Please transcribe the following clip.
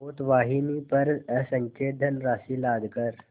पोतवाहिनी पर असंख्य धनराशि लादकर